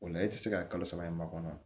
O la e ti se ka kalo saba in makɔnɔ